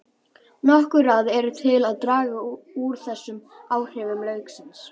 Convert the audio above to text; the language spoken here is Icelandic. Nokkur ráð eru til að draga úr þessum áhrifum lauksins.